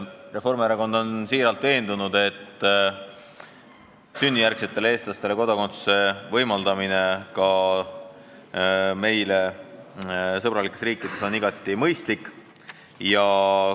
Reformierakond on siiralt veendunud, et sünnijärgsetele eestlastele kodakondsuse võimaldamine ka meile sõbralikes riikides on igati mõistlik.